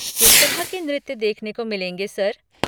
किस तरह के नृत्य देखने को मिलेंगे, सर?